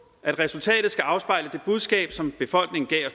at resultatet skal afspejle det budskab som befolkningen gav